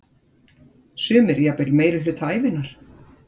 Sumir jafnvel meirihluta ævinnar.